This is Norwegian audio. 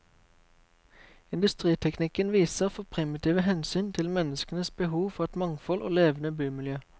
Industriteknikken viser for primitive hensyn til menneskenes behov for et mangfold og levende bymiljø.